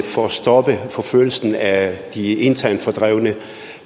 for at stoppe forfølgelsen af de internt fordrevne